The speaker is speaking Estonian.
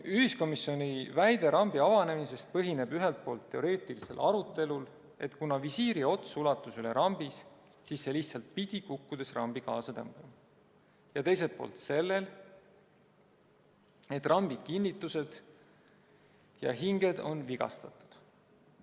Ühiskomisjoni väide rambi avanemisest põhineb ühelt poolt teoreetilisel arutelul, et kuna visiiri ots ulatus üle rambi, siis see lihtsalt pidi kukkudes rambi kaasa tõmbama, ja teiselt poolt sellel, et rambi kinnitused ja hinged on vigastatud.